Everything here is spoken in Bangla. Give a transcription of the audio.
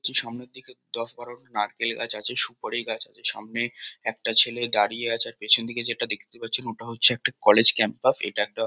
কিছু সামনের দিকে দশ-বারোটা নারকেল গাছ আছে সুপারি গাছ আছে। সামনে একটা ছেলে দাঁড়িয়ে আছে আর পেছন দিকে যেটা দেখতে পাচ্ছি। ওটা হচ্ছে একটা কলেজ ক্যাম্পাস . এটা একটা--